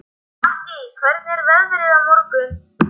Mattý, hvernig er veðrið á morgun?